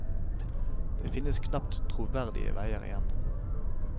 Det finnes knapt troverdige veier igjen.